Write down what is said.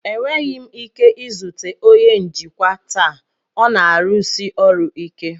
Enweghị m ike izute onye njikwa taa, ọ na-arụsi ọrụ ike.